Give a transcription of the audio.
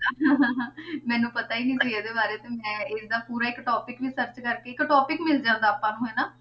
ਮੈਨੂੰ ਪਤਾ ਹੀ ਨੀ ਸੀ ਇਹਦੇ ਬਾਰੇ ਤੇ ਮੈਂ ਇਹਦਾ ਪੂਰਾ ਇੱਕ topic ਵੀ search ਕਰਕੇ, ਇੱਕ topic ਮਿਲ ਜਾਂਦਾ ਆਪਾਂ ਨੂੰ ਹਨਾ,